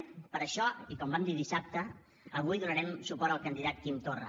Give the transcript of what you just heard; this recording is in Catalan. i per això com vam dir dissabte avui donarem suport al candidat quim torra